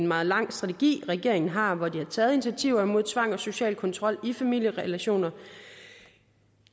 meget lang strategi regeringen har og hvor de har taget initiativer mod tvang og social kontrol i familierelationer